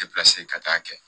Depilasi ka taa'a kɛ